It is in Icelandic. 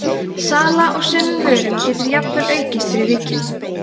sala á sumum vörum getur jafnvel aukist fyrir vikið